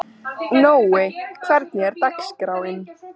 Nói, hvernig er dagskráin?